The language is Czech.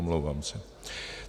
Omlouvám se.